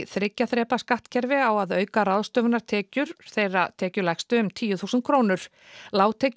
þriggja þrepa skattkerfi á að auka ráðstöfunartekjur þeirra tekjulægstu um tíu þúsund krónur